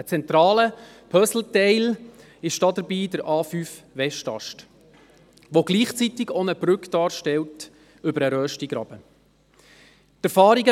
Ein zentrales Puzzleteil ist dabei der A5-Westast, der gleichzeitig auch eine Brücke über den Röstigraben darstellt.